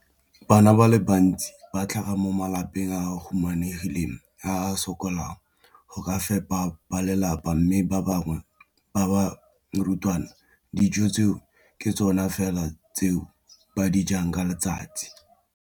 Bana ba le bantsi ba tlhaga mo malapeng a a humanegileng a a sokolang go ka fepa ba lelapa mme ba bangwe ba barutwana, dijo tseo ke tsona fela tse ba di jang ka letsatsi.